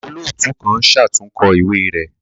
Olootu kan ṣatunkọ iwe rẹ